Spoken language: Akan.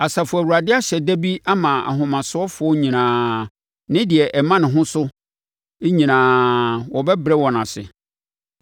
Asafo Awurade ahyɛ da bi ama ahomasofoɔ nyinaa ne deɛ ɛma ne ho so nyinaa (wɔbɛbrɛ wɔn ase),